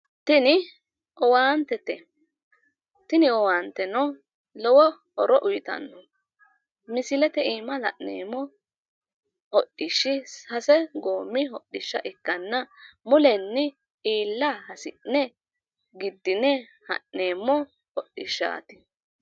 Tini owaantete tini owaanteno lowo horo uyiitanno misilete iima la'neemmo hodhishshi sase goommi hodhisha ikkanna mulenni iilla hasi'ne giddine ha'neemmmo hodhishshaati.